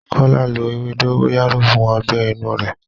Kọ́lá lo ewé dógóyárò fún ọgbẹ́ inú rẹ̀.